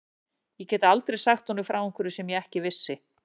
Ég gæti aldrei sagt honum frá einhverju sem ég ekki vissi.